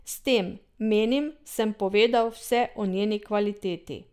S tem, menim, sem povedal vse o njeni kvaliteti.